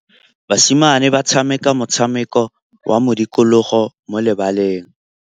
Basimane ba tshameka motshameko wa modikologô mo lebaleng.